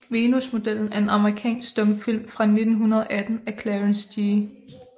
Venusmodellen er en amerikansk stumfilm fra 1918 af Clarence G